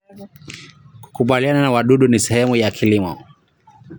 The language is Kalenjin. Kukabiliana na wadudu ni sehemu ya kilimo.